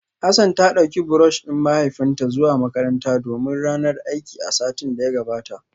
Hassan ta dauki brush din mahaifinta zuwa makaranta domin ranar aiki a satin da ya gabata